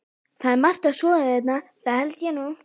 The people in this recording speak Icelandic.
Það er margt að skoða hérna, það held ég nú.